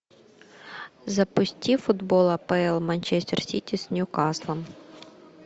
запусти футбол апл манчестер сити с ньюкаслом